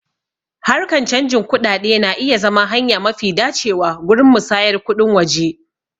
Harkan canjin kuɗaɗe na iya zama hanya mafi dacewa gurin musayar kuɗin waje.